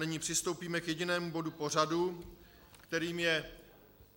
Nyní přistoupíme k jedinému bodu pořadu, kterým je